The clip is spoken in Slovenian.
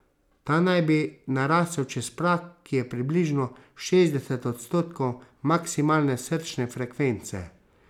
Ta naj bi narasel čez prag, ki je približno šestdeset odstotkov maksimalne srčne frekvence.